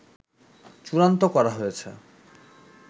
চূড়ান্ত করা হয়েছে